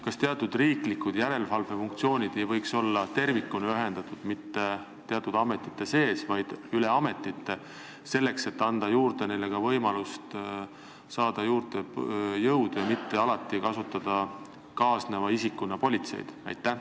Kas teatud riiklikud järelevalvefunktsioonid ei võiks olla tervikuna ühendatud mitte teatud ametite sees, vaid üle ametite, selleks et oleks võimalik saada juurde jõudu, nii et alati ei peaks kaasneva isikuna kasutama politseid?